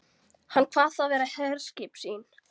Hann kvað það vera herskip sín.